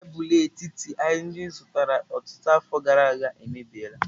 Tebụl etiti anyị zụtara ọtụtụ afọ gara aga emebi la.